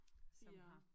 Som har